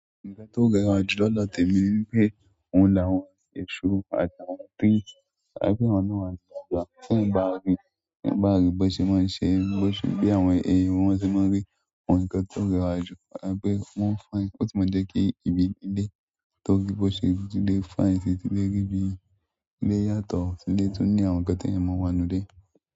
Nǹkan tó rẹwà jù lọ̀dọ̀ tẹ̀mi ni pé ohun làwọn èṣo àti àwọn tí a ń pè wọ́n náà ní àgbààgbà. Kí ẹ bá ríi, kí ẹ bá ríi bó ṣe máa ń ṣe, bó ṣe bí àwọn èèyàn wọ́n ṣe máa ń rí àwọn ǹkan tó rẹwà jù tàbí wọ́n fine, won si máa ń jẹ́ kí ibi ilé tó rí bó ṣe ju ilé fún ẹ ṣe ti lè rí bí ilé yàtọ̀ sí ilé tó ní àwọn ǹkan tí èèyàn máa ń wá inù ile.